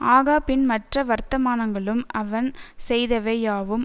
ஆகாபின் மற்ற வர்த்தமானங்களும் அவன் செய்தவை யாவும்